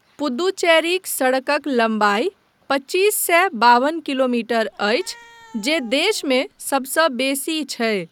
पुद्दुचेरीक सड़कक लम्बाइ पच्चीस सए बाबन किलोमीटर अछि जे देशमे सबसँ बेसी छै।